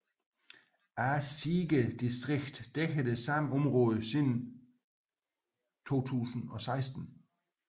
Asige distrikt dækker det samme område siden 2016